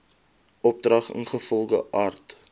opdrag ingevolge art